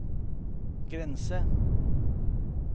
grense